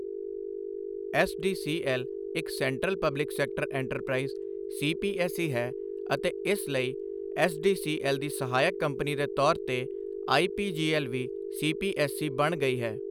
SDCL ਇੱਕ central public sector enterprise CPSE ਹੈ ਅਤੇ ਇਸ ਲਈ ਐੱਸਡੀਸੀਐੱਲ ਦੀ ਸਹਾਇਕ ਕੰਪਨੀ ਦੇ ਤੌਰ ਤੇ ਆਈਪੀਜੀਐੱਲ ਵੀ ਸੀਪੀਐੱਸਈ ਬਣ ਗਈ ਹੈ।